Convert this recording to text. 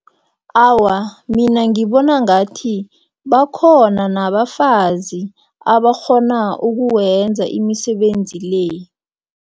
Awa, mina ngibona ngathi bakhona nabafazi abakghona ukuwenza imisebenzi le.